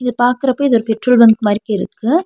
இது பாக்குறப்போ இது ஒரு பெட்ரோல் பங்க் மாரிக்கிருக்கு.